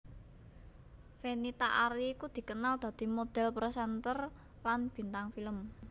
Fenita Arie iku dikenal dadi modhél presenter lan bintang film